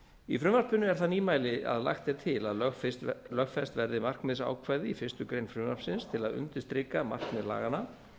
í frumvarpinu er það nýmæli að lagt er til að lögfest verði markmiðsákvæði í fyrstu grein frumvarpsins til að undirstrika markmið laganna